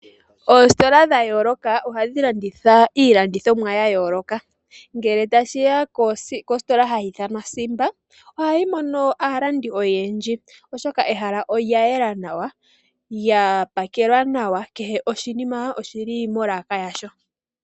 Oositola dha yooloka, ohadhi landitha iilandithomwa ya yooloka. Ngele tashi ya kositola hayi ithanwa Simba, ohayi mono aalandi oyendji, oshoka ehala olya yela nawa, lya pakelwa nawa, kehe oshinima oshi li molaka yasho.